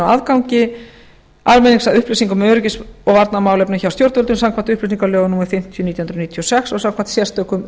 aðgangi almennings að upplýsingum um öryggis og varnarmálefni hjá stjórnvöldum samkvæmt upplýsingalögum númer fimmtíu nítján hundruð níutíu og sex og samkvæmt sérstökum